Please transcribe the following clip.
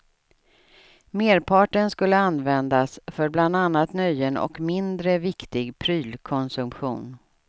Merparten skulle användas för bland annat nöjen och mindre viktig prylkonsumtion.